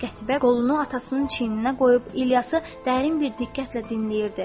Qətibə qolunu atasının çiyninə qoyub İlyası dərin bir diqqətlə dinləyirdi.